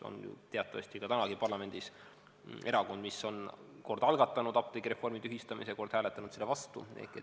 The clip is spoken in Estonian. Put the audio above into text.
On ju teatavasti tänagi parlamendis erakond, mis on kord algatanud apteegireformi tühistamise, kord hääletanud selle vastu.